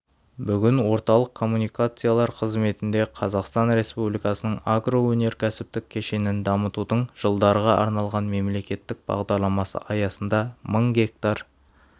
бүгін орталық коммуникациялар қызметінде қазақстан республикасының агроөнеркәсіптік кешенін дамытудың жылдарға арналған мемлекеттік бағдарламасы аясында мың гектар